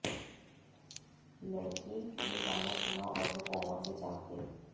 लड़की ने गाना सुना और वो कोमा से जाग गई